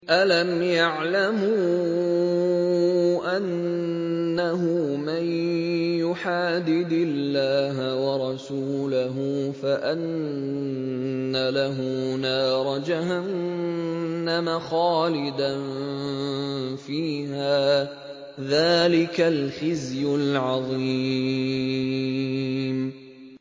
أَلَمْ يَعْلَمُوا أَنَّهُ مَن يُحَادِدِ اللَّهَ وَرَسُولَهُ فَأَنَّ لَهُ نَارَ جَهَنَّمَ خَالِدًا فِيهَا ۚ ذَٰلِكَ الْخِزْيُ الْعَظِيمُ